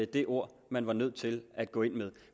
det ord man var nødt til at gå ind med